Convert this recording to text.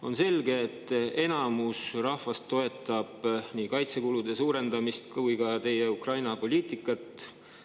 On selge, et enamik rahvast toetab nii kaitsekulude suurendamist kui ka teie Ukraina-poliitikat.